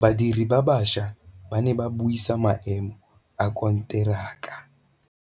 Badiri ba baša ba ne ba buisa maêmô a konteraka.